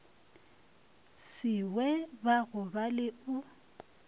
se we ba gobale o